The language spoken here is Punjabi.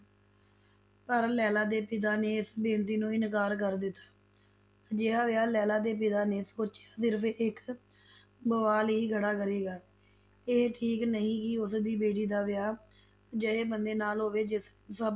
ਪਰ ਲੈਲਾ ਦੇ ਪਿਤਾ ਨੇ ਇਸ ਬੇਨਤੀ ਨੂੰ ਇਨਕਾਰ ਕਰ ਦਿੱਤਾ, ਅਜਿਹਾ ਵਿਆਹ ਲੈਲਾ ਦੇ ਪਿਤਾ ਨੇ ਸੋਚਿਆ ਸਿਰਫ ਇੱਕ ਬਵਾਲ ਹੀ ਖੜਾ ਕਰੇਗਾ, ਇਹ ਠੀਕ ਨਹੀਂ ਕਿ ਉਸਦੀ ਬੇਟੀ ਦਾ ਵਿਆਹ ਅਜਿਹੇ ਬੰਦੇ ਨਾਲ ਹੋਵੇ ਜਿਸਨੂੰ ਸਭ